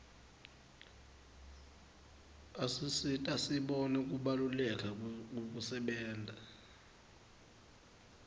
asisita sibone kubaluleka kwekusebenta